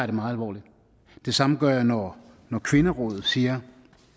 det meget alvorligt det samme gør jeg når når kvinderådet siger